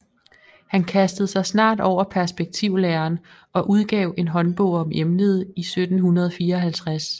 Han kastede sig snart over perspektivlæren og udgav en håndbog om emnet i 1754